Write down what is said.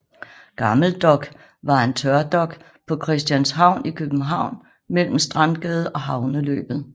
Gammel Dok var en tørdok på Christianshavn i København mellem Strandgade og havneløbet